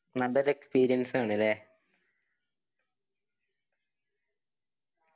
നല്ല ഒരു experience ആണല്ലേ